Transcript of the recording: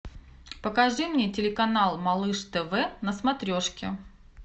покажи мне телеканал малыш тв на смотрешке